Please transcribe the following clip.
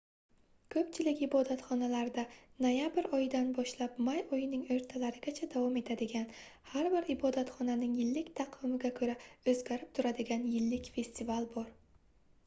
koʻpchilik ibodatxonalarda noyabr oyidan boshlab may oyining oʻrtalarigacha davom etadigan har bir ibodatxonaning yillik taqvimiga koʻra oʻzgarib turadigan yillik festival bor